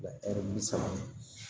ɛri wili saŋa